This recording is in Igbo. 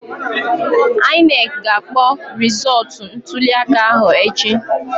INEC ga-akpọ rịzọtụ ntulịaka ahụ echi